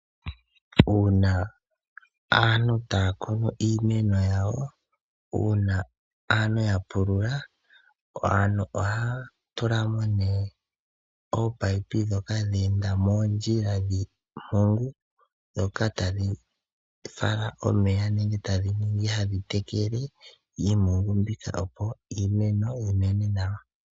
Uuna aantu taya kunu iimeno yawo, uuna aantu ya pulula aantu ohaa tula mo nee ominino dhoka dheenda moondjila dhiimpungu dhoka tadhi fala omeya nenge tadhi ningi hadhi tekele iimpungu mbika opo iimeno yimene nawa.